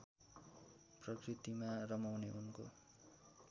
प्रकृतिमा रमाउने उनको